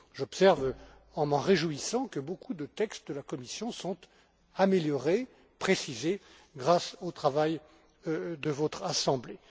J'observe, en m'en réjouissant, que beaucoup de textes de la Commission sont améliorés, précisés grâce au travail de votre Assemblée.